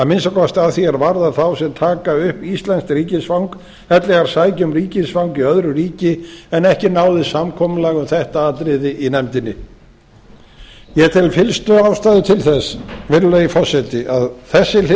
minnsta kosti að því er varðar þá sem taka upp íslenskt ríkisfang ellegar sækja um ríkisfang í öðru ríki en ekki náðist samkomulag um þetta atriði í nefndinni ég tel fyllstu ástæðu til þess virðulegi forseti að þessi hlið